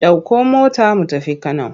Ɗauko mota mu tafi Kano!